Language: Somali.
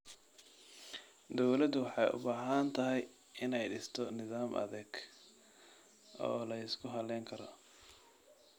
Dawladdu waxay u baahan tahay inay dhisto nidaam adeeg oo la isku halayn karo.